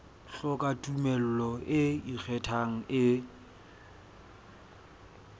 hloka tumello e ikgethang e